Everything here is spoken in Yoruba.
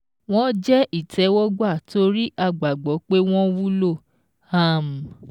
Wọ́n jẹ́ ìtẹ́wọ́gbà torí a gbàgbọ́ pé wọ́n wúlò. um